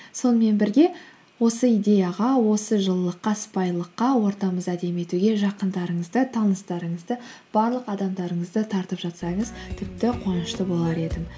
сонымен бірге осы идеяға осы жылылыққа сыпайылыққа ортамызды әдемі етуге жақындарыңызды таныстарыңызды барлық адамдарыңызды тартып жатсаңыз тіпті қуанышты болар едім